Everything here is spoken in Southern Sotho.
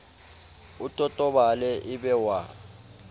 o totobale e be wa